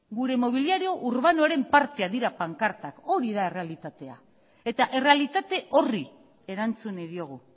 gure mobiliario urbanoaren parte dira pankartak hori da errealitatea eta errealitate horri erantzun nahi diogu